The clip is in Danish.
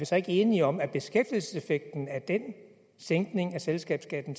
så ikke enige om at beskæftigelseseffekten af den sænkning af selskabsskatten